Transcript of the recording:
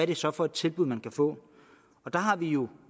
det så for et tilbud man kan få og der har vi jo